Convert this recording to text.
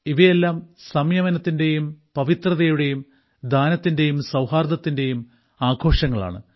ഇവയെല്ലാം സംയമനത്തിന്റേയും പവിത്രതയുടെയും ദാനത്തിന്റെയും സൌഹാർദ്ദത്തിന്റെയും ആഘോഷങ്ങളാണ്